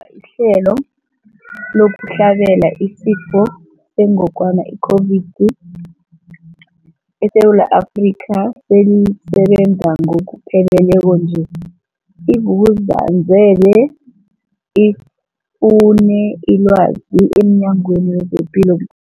ihlelo lokuhlabela isiFo sengogwana i-Corona, i-COVID-19, eSewula Afrika selisebenza ngokupheleleko nje, i-Vuk'uzenzele ifune ilwazi emNyangweni wezePilo